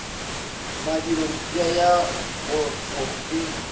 madilo mpša ya kgotho e